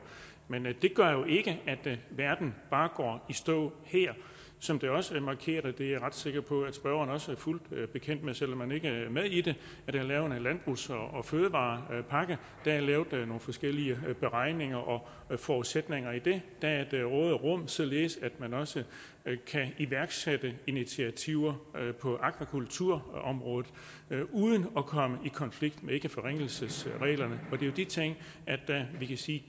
men det gør jo ikke at verden bare går i stå her som det også er markeret og det er jeg ret sikker på spørgeren også er fuldt bekendt med selv om man ikke er med i det er der lavet en landbrugs og fødevarepakke og der er lavet nogle forskellige beregninger og forudsætninger i det der er et råderum således at man også kan iværksætte initiativer på akvakulturområdet uden at komme i konflikt med ikkeforringelsesreglerne og det er jo de ting vi kan sige